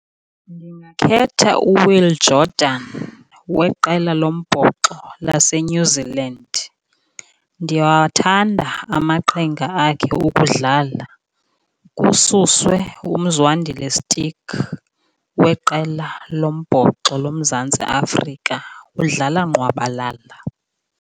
Ndingakhetha uWill Jordan weqela lombhoxo laseNew Zealand, ndiyawathanda amaqhinga akhe okudlala. Kususwe uMzwandile Stick weqela lombhoxo loMzantsi Afrika, udlala ngqwabalala.